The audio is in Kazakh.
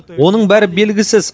оның бәрі белгісіз